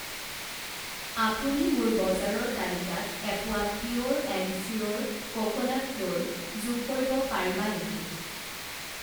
আপুনি মোৰ বজাৰৰ তালিকাত এপোৱা pure and sure coconut flour যোগ কৰিব পাৰিবা নেকি?